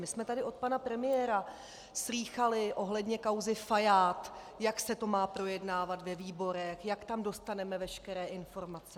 My jsme tady od pana premiéra slýchali ohledně kauzy Fajád, jak se to má projednávat ve výborech, jak tam dostaneme veškeré informace.